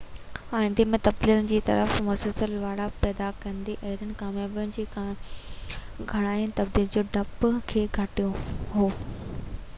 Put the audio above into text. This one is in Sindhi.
آئندي ۾ تبديلين جي طرف مثبت لاڙا پيدا ڪندي اهڙين ڪاميابين جي ڪهاڻين تبديلي جي ڊپ کي گهٽ ڪيو